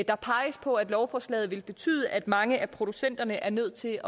der peges på at lovforslaget vil betyde at mange af producenterne er nødt til